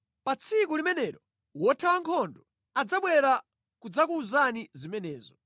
Pa tsiku limenelo wothawa nkhondo adzabwera kudzakuwuzani zimenezo.